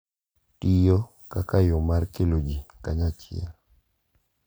Tiyo kaka yo mar kelo ji kanyachiel